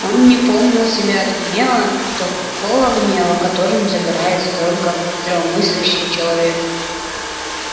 он не помнил себя от гнева такого гнева которым загорается только здравомыслящий человек